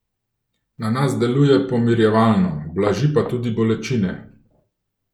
Na nas deluje pomirjevalno, blaži pa tudi bolečine.